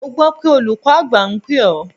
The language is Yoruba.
Mo gbọ́ pé olùkọ́ àgbà ń pè ọ́?